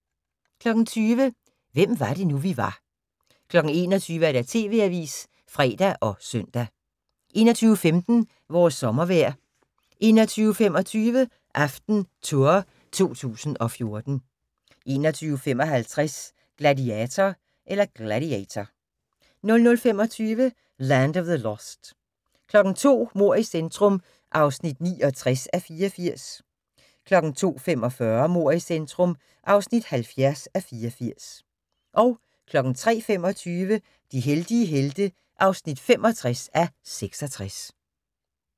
20:00: Hvem var det nu, vi var 21:00: TV-avisen (fre og søn) 21:15: Vores sommervejr 21:25: AftenTour 2014 21:55: Gladiator 00:25: Land of the Lost 02:00: Mord i centrum (69:84) 02:45: Mord i centrum (70:84) 03:25: De heldige helte (65:66)